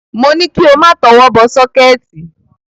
Mo ní kí o má tọwọ́ bọ sọ́kẹ́ẹ̀tì.